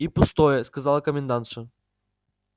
и пустое сказала комендантша